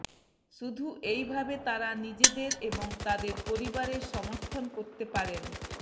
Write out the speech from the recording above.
শুধু এইভাবে তারা নিজেদের এবং তাদের পরিবারের সমর্থন করতে পারেন